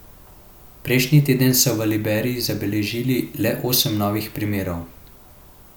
Prejšnji teden so v Liberiji zabeležili le osem novih primerov.